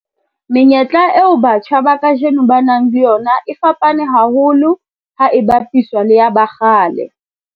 Menyetla eo batjha ba kajeno ba nang le yona e fapane haholo ha e bapiswa le ya ba kgale.